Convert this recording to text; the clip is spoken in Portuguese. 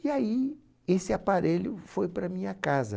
E aí, esse aparelho foi para a minha casa.